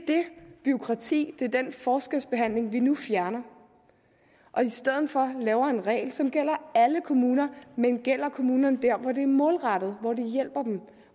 bureaukrati det er den forskelsbehandling vi nu fjerner i stedet for laver vi en regel som gælder alle kommuner men gælder kommunerne hvor det er målrettet